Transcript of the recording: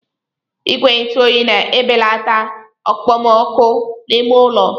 Igwe ntụ oyi na-ebelata okpomọkụ n'ime ụlọ.